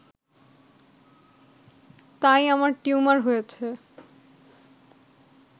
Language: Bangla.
তাই আমার টিউমার হয়েছে